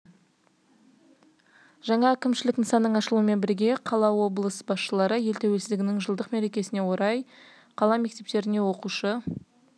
жаңа әкімшілік нысанының ашылуымен бірге облыс қала басшылары ел тәуелсіздігінің жылдық мерекесіне орай қала мектептеріне оқушы